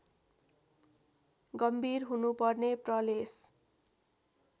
गम्भीर हुनुपर्ने प्रलेस